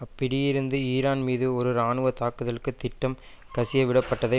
அப்பிடியிருந்து Iran மீது ஒரு இராணுவ தாக்குதலுக்கு திட்டம் கசியவிடப்பட்டதை